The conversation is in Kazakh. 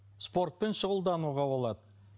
спортпен шұғылдануға болады